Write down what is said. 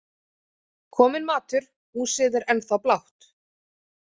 Kominn matur Húsið er ennþá blátt.